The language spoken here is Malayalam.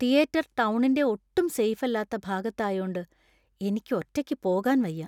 തിയേറ്റർ ടൗണിന്‍റെ ഒട്ടും സേഫ് അല്ലാത്ത ഭാഗത്തായോണ്ട് എനിക്ക് ഒറ്റയ്ക്ക് പോകാൻ വയ്യ.